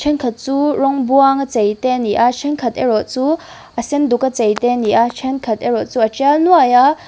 thenkhat chu rawng buang a chei te ani a thenkhat erawh chu a senduk a chei te a nih a thenkhat erawh chu a tial nuaih a.